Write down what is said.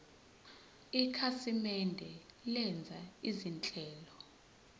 ikhasimende lenza izinhlelo